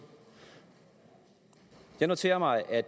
jeg noterer mig at